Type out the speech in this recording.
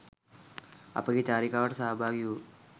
අපගේ චාරිකාවට සහභාගී වූ